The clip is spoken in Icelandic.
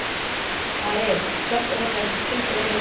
Aris, slökktu á þessu eftir tuttugu og eina mínútur.